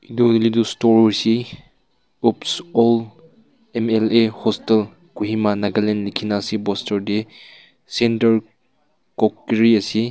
etu hoile tu store ase opp all mla hotel Kohima Nagaland likhe kina ase poster te center cockery ase.